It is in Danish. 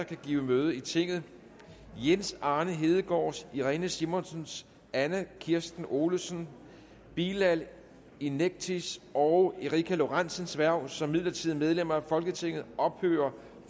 kan give møde i tinget jens arne hedegaards irene simonsens anna kirsten olesens bilal inekcis og erika lorentsens hverv som midlertidige medlemmer af folketinget ophører